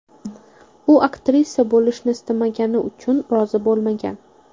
U aktrisa bo‘lishni istamagani uchun rozi bo‘lmagan.